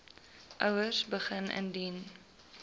ouers begin indien